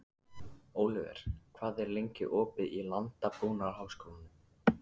Oliver, hvað er lengi opið í Landbúnaðarháskólanum?